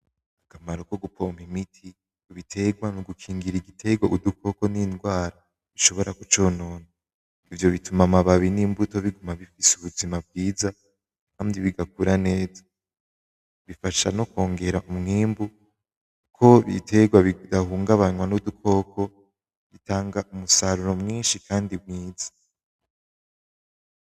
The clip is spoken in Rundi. Akamaro kogupompa imiti ibiterwa nigukigira igiterwa udukoko n'ingwara bishobora kuconona, ivyo bituma amababi n'imbuto biguma bifise ubuzima bwiza kandi bigakura neza, bifasha nokwongera umwimbu ko ibiterwa bitahungabanwa nudukoko, bitanga umusaruro mwinshi kandi mwiza.